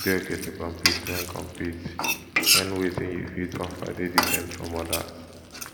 e de okay to compete when compete when wetin you fit offer dey different from others